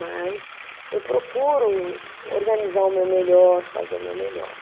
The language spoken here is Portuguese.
Mas eu procuro organizar o meu melhor, fazer o meu melhor.